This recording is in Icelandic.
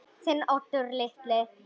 Þinn Oddur litli.